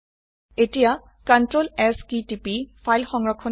এতিয়া Ctrl S কী টিপি ফাইল সংৰক্ষণ কৰক